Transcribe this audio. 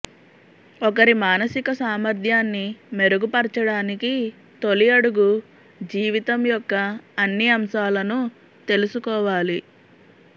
ఒకరి మానసిక సామర్థ్యాన్ని మెరుగుపర్చడానికి తొలి అడుగు జీవితం యొక్క అన్ని అంశాలను తెలుసుకోవాలి